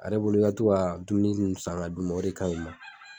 Are bolo ka to ka dumuni nunnu san ka d'u ma o de kaɲi u ma